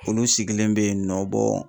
Olu sigilen bɛ yennɔ .